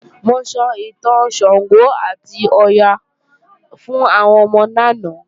Mo sọ ìtàn Ṣàngó àti Ọya fún àwọn ọmọ lánàá